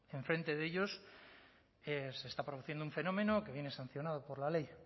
enfrente de ellos se está produciendo un fenómeno que viene sancionado por la ley